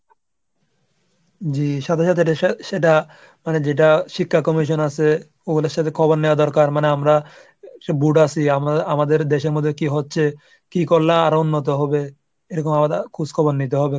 জি সাথে সাথে সেটা মানে যেটা শিক্ষা commission আছে ওগুলোর সাথে খবর নেওয়া দরকার মানে আমরা সব brood আছি। আমাদের দেশের মধ্যে কি হচ্ছে? কি করলে আরো উন্নত হবে? এরকম আলাদা খোঁজ খবর নিতে হবে।